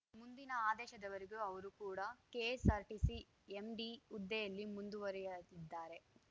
ಮುಂದಿನ ಆದೇಶದವರೆಗೆ ಅವರೂ ಕೂಡ ಕೆಎಸ್‌ಆರ್‌ಟಿಸಿ ಎಂಡಿ ಹುದ್ದೆಯಲ್ಲಿ ಮುಂದುವರೆಯಲಿದ್ದಾರೆ